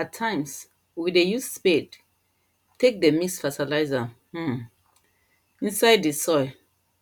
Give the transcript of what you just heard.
at times we dey use spade take dey mix fertilizer um inside the soil